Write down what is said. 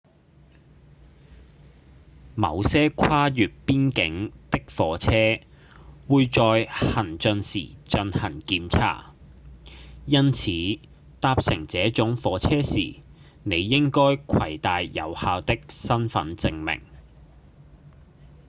某些跨越邊境的火車會在行進時進行檢查因此搭乘這種火車時你應該攜帶有效的身分證明